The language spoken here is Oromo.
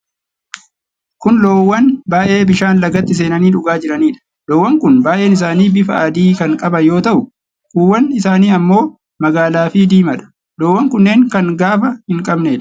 Kun loowwan baay'ee bishaan lagaatti seenanii dhugaa jiraniidha. Loowwan kun baay'een isaanii bifa adii kan qaban yoo ta'u, kuuwwan isaanii ammoo magaala fi diimaadha. Loowwan kunneen kan gaafa hin qabneedha.